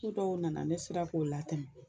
Ko dɔw nana ne srea k'o latɛmɛ